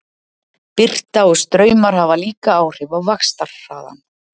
Birta og straumar hafa líka áhrif á vaxtarhraðann.